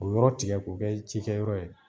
O yɔrɔ tigɛ k'o kɛ cikɛyɔrɔ ye